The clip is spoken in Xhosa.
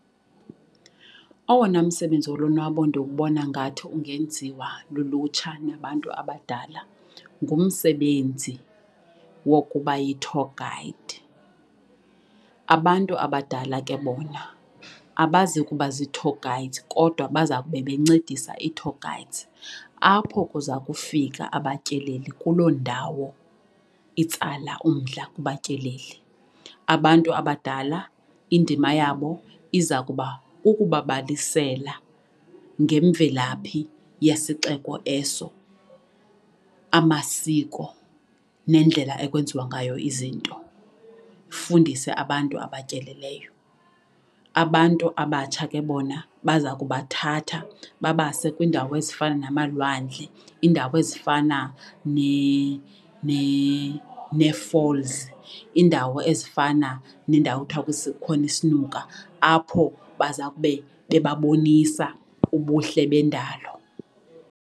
Owona msebenzi wolonwabo ndiwubona ngathi ungenziwa lulutsha nabantu abadala ngumsebenzi wokuba yi-tour guide. Abantu abadala ke bona abazi kuba zi-tour guides kodwa baza kube bencedisa i-tour guides apho kuza kufika abatyeleli kuloo ndawo itsala umdla kubatyeleli. Abantu abadala indima yabo iza kuba kukubabalisela ngemvelaphi yesixeko eso, amasiko nendlela ekwenziwa ngayo izinto, ufundise abantu abatyeleleyo. Abantu abatsha ke bona baza kubathatha babase kwiindawo ezifana namalwandle iindawo ezifana ne-falls, iindawo ezifana nendawo ekuthwa kukhona isinuka apho bazawube beba bonisa ubuhle bendalo.